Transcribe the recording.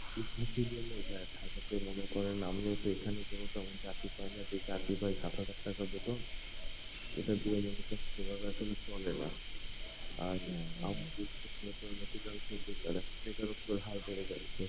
ভাই ঢাকা তে মনে করেন আমিও তো এখানে কোন তেমন চাকরি পাইনা, যে চাকরি পাই সাত হাজার টাকা বেতন। এটা দিয়ে মূলত সেভাবে এখানে চলে না আর বেকারত্বর হার বেড়ে যাবে।